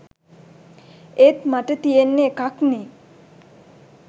එත් මට තියෙන්නේ එකක්නේ